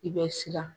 I bɛ siran